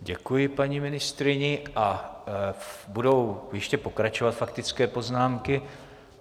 Děkuji paní ministryni a budou ještě pokračovat faktické poznámky.